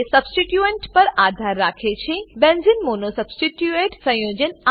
electron density electron density એ substituent substituent પર આધાર રાખે છે